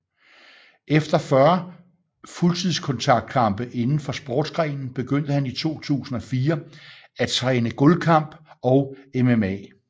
Efter 40 fuldkontaktskampe indenfor sportsgrenen begyndte han i 2004 at træne gulvkamp og MMA